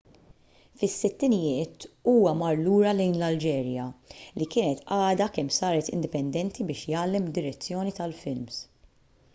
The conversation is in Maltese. fis-sittinijiet huwa mar lura lejn l-alġerija li kienet għadha kemm saret indipendenti biex jgħallem id-direzzjoni tal-films